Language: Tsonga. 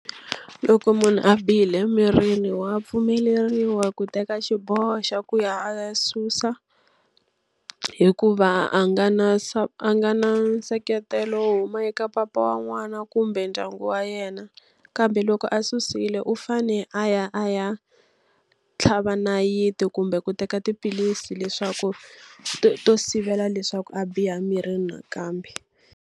Loko munhu a bihile emirini wa pfumeleriwa ku teka xiboho xa ku ya a ya susa, hikuva a nga na a nga na nseketelo wo huma eka papa wa n'wana kumbe ndyangu wa yena. Kambe loko a susile u fanele a ya a ya tlhava nayiti kumbe ku teka tiphilisi leswaku to to sivela leswaku a biha mirini nakambe.